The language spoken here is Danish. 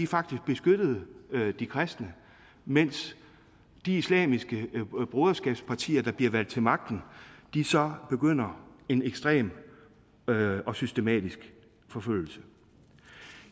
faktisk beskyttede de kristne mens de islamiske broderskabspartier der bliver valgt til magten så begynder en ekstrem og og systematisk forfølgelse